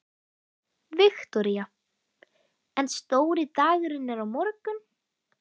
Viktoría: En stóri dagurinn er á morgun?